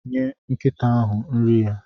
Nye nkịta ahụ nri ya.